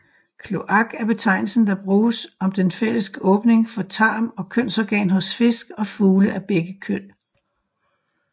Kloak er betegnelsen der bruges om den fælles åbning for tarm og kønsorgan hos fisk og fugle af begge køn